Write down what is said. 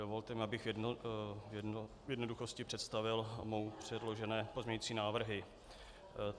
Dovolte mi, abych v jednoduchosti představil mnou předložené pozměňovací návrhy.